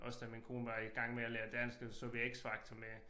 Også da min kone var i gang med at lære dansk der så vi X Factor med